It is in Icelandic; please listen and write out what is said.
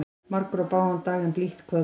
Margur á bágan dag en blítt kvöld.